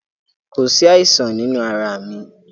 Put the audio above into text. Kò sí àìsàn nínú arà mi.